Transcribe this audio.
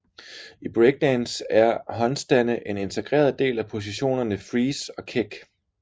I breakdance er håndstande en integreret del af positionerne freeze og kick